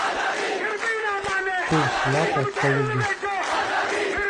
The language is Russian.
курс лата в калуге